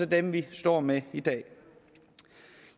dem vi står med i dag